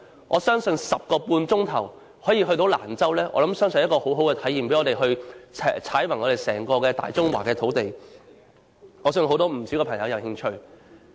我相信 10.5 小時可以抵達蘭州是很好的體驗，讓我們踏遍大中華的土地，我相信不少朋友會有興趣。